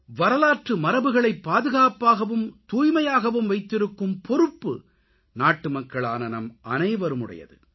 வரலாற்று மரபுகளை பாதுகாப்பாகவும் தூய்மையாகவும் வைத்திருக்கும் பொறுப்பு நாட்டுமக்களான நம்மனைவருடையது